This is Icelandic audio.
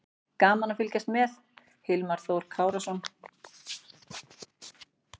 Gaman að fylgjast með: Hilmar Þór Kárason.